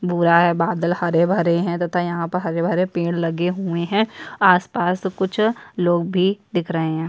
भूरा है बादल हरे - भरे है तथा यहाँ पर हरे - भरे पेड़ लगे हुए है आस - पास कुछ लोग भी दिख रहे है।